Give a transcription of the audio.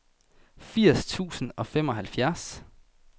firs tusind og femoghalvfjerds